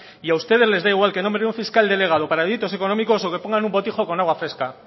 y a ustedes les da igual que nombre a un fiscal delegado para delitos económicos o que pongan un botijo con agua fresca